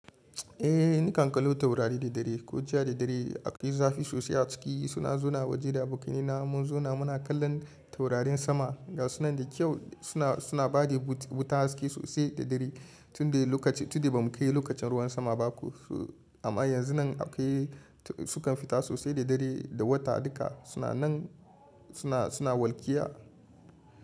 Eh ni kan kallo taurari da dare ko jiya da dare. Akwai zafi sosai a ciki suna zuna waje da buki na mun zona muna kallon taurarin sama. Ga suna da kyau suna, suna bada wuta haske sosai da dare tunda lokaci tunda bamu kayi lokacin ruwan sama ba ko. Amma yanzu nan aka yi su kan fita sosai da dare da wata duka suna nan suna, suna walƙiya.